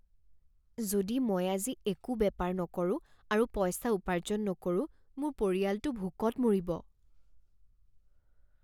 যদি মই আজি একো বেপাৰ নকৰো আৰু পইচা উপাৰ্জন নকৰো মোৰ পৰিয়ালটো ভোকত মৰিব।